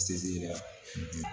Sinsin